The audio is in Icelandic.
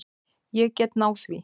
Ég get náð því.